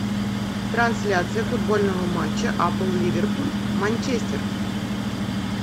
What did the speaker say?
трансляция футбольного матча апл ливерпуль манчестер